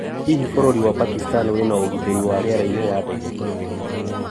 Hihi bũrũri wa Pakistan wĩ na ũgitĩri wa rĩera-inĩ wa ndege?